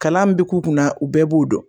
Kalan bi k'u kunna u bɛɛ b'u dɔn